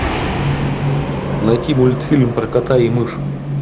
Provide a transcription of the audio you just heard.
найти мультфильм про кота и мышь